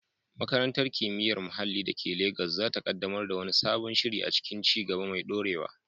Makarantar Kimiyyar Muhalli da ke Legas za ta kaddamar da wani sabon shiri a cikin ci gaba mai dorewa.